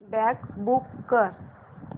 cab book कर